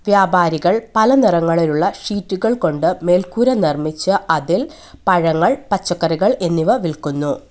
വ്യാപാരികൾ പല നിറങ്ങളിലുള്ള ഷീറ്റുകൾ കൊണ്ട് മേൽക്കൂര നിർമ്മിച്ച് അതിൽ പഴങ്ങൾ പച്ചക്കറികൾ എന്നിവ വിൽക്കുന്നു.